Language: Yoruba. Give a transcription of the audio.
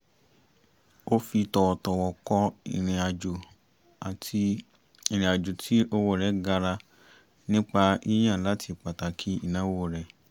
o fi tọwọtọwọ̀ kọ irin ajo ati irin ajo ti owo rẹ gara nipa yiyan lati pataki inawo rẹ